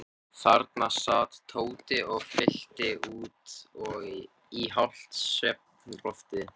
Þarna sat Tóti og fyllti út í hálft svefnloftið.